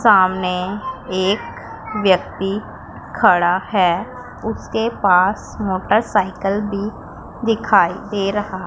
सामने एक व्यक्ति खड़ा है उसके पास मोटरसाइकिल भी दिखाई दे रहा --